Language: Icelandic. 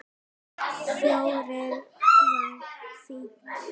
Fjórir var fínt.